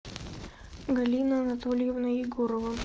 галина анатольевна егорова